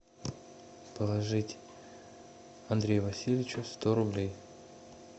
положить андрею васильевичу сто рублей